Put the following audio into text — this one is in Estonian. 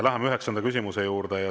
Läheme üheksanda küsimuse juurde.